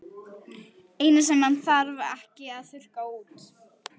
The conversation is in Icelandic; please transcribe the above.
Eina sem hann þarf ekki að þurrka út.